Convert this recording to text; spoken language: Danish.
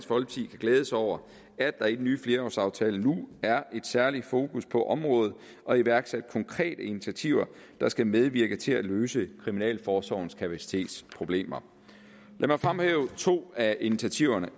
glæde sig over at der i den nye flerårsaftale nu er et særligt fokus på området og iværksat konkrete initiativer der skal medvirke til at løse kriminalforsorgens kapacitetsproblemer lad mig fremhæve to af initiativerne